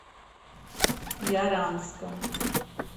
яранском